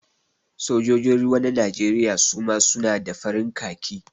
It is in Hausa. Sojojin ruwa na Najeriya suma su na da farin khaki